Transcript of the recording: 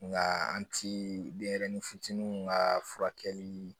Nga an ti denyɛrɛnin fitininw ka furakɛli